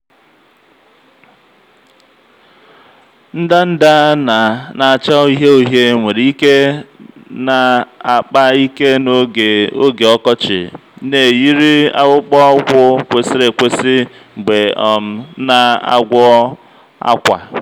ndanda na-acha uhie uhie nwere ike na-akpa ike n'oge oge ọkọchị na-eyiri akpụkpọ ụkwụ kwesịrị ekwesị mgbe ị um na-agwọ akwa.